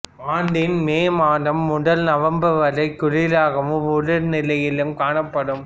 ஆண்டின் மே மாதம் முதல் நவம்பர் வரை குளிராகவும் உலர் நிலையிலும் காணப்படும்